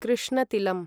कृष्णतिलम्